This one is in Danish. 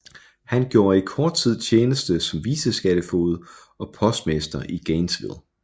Han gjorde i kort tid tjeneste som viceskattefoged og postmester i Gainesville